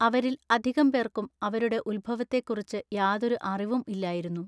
അവരിൽ അധികം പേർക്കും അവരുടെ ഉത്ഭവത്തെക്കുറിച്ച് യാതൊരു അറിവും ഇല്ലായിരുന്നു.